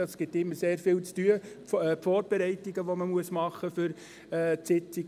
Das alles gibt immer sehr viel zu tun, die Vorbereitungen, die man machen muss für die Sitzungen.